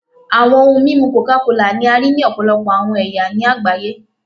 Awọn ohun mimu coca kola ni a rii ni ọpọlọpọ awọn ẹya ni agbaye